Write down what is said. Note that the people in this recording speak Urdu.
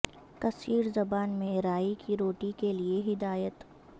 کثیر زبان میں رائی کی روٹی کے لئے ہدایت